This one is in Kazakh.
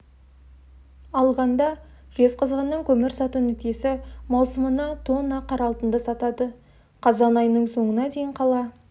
алғанда жезқазғанның көмір сату нүктесі маусымына тонна қара алтынды сатады қазан айының соңына дейін қала